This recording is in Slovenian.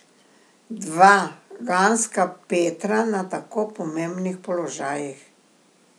Dva ganska Petra na tako pomembnih položajih!